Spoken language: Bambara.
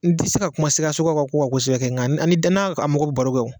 N tɛ se ka kuma Sikasokaw ka ko kan kosɛbɛ kɛ nka ni danaya mɔgɔw bɛ baro kɛ